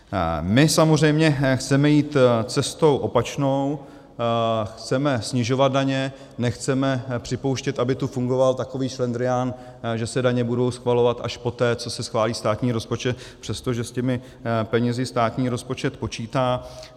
My samozřejmě chceme jít cestou opačnou, chceme snižovat daně, nechceme připouštět, aby tu fungoval takový šlendrián, že se daně budou schvalovat až poté, co se schválí státní rozpočet, přestože s těmi penězi státní rozpočet počítá.